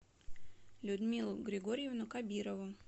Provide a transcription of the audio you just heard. людмилу григорьевну кабирову